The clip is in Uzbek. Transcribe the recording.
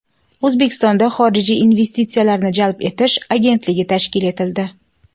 O‘zbekistonda Xorijiy investitsiyalarni jalb etish agentligi tashkil etildi.